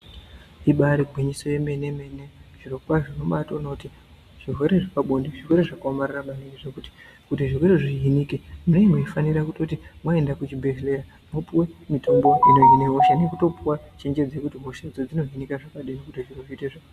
I Ibari gwinyiso yemenemene Zviro kwazvo unobatoona kuti zvirwere zvepabonde zvirwere zvakaomarara maningi zvekuti kuti zvirwerezvo zvihinike munenge mweifanirwa kuti mwaenda kuzvibhehlera mwopuwe mutombo inohina hosha nekutopa chenjedzo yekuti hoshadzo dzinohinika zvakadini kuti zviro zvite zvakanaka.